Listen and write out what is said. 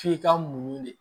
F'i ka muɲu de